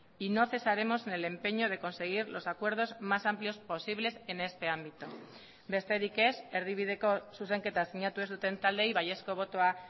y no cesaremos en el empeño de conseguir los acuerdos más amplios posibles en este ámbito besterik ez erdibideko zuzenketa sinatu ez duten taldeei baiezko botoa